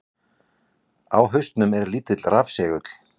Á hausnum er lítill rafsegull.